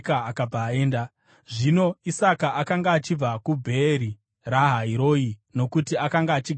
Zvino Isaka akanga achibva kuBheeri Rahai Roi, nokuti akanga achigara kuNegevhi.